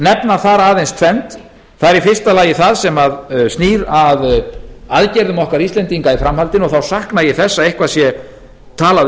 nefna þar aðeins tvennt það er í fyrsta lagi það sem snýr að aðgerðum okkar íslendinga í framhaldinu og þá sakna ég þess að eitthvað sé talað